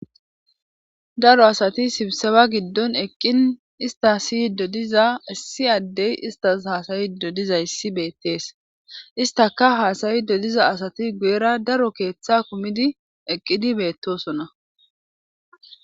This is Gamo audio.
daro asati sibseba giddon eqqin ista siy dodiza issi addey istas haasayi dodiza issi beettees istaka haasayi dodiza asati guyera daro keeththe kumidi eqqidi beettosona